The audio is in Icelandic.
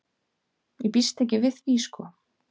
Ég býst ekki við því sko.